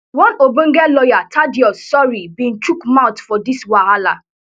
one ogbonge lawyer thaddeus sory bin chook mouth for dis wahala